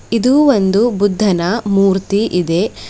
ಇದು ಒಂದು ಬುದ್ದನ ಮೂರ್ತಿ ಇದೆ.